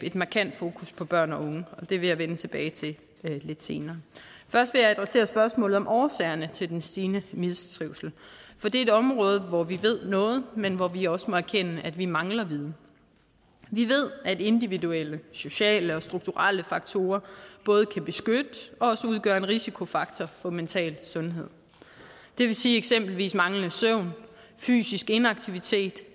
et markant fokus på børn og unge og det vil jeg vende tilbage til lidt senere først vil jeg adressere spørgsmålet om årsagerne til den stigende mistrivsel for det er et område hvor vi ved noget men hvor vi også må erkende at vi mangler viden vi ved at individuelle sociale og strukturelle faktorer både kan beskytte og også udgøre en risikofaktor for mental sundhed det vil sige at eksempelvis manglende søvn fysisk inaktivitet